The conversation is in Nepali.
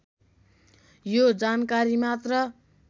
यो जानकारी मात्र